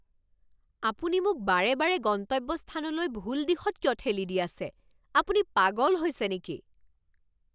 আপুনি মোক বাৰে বাৰে গন্তব্যস্থানলৈ ভুল দিশত কিয় ঠেলি দি আছে। আপুনি পাগল হৈছে নেকি?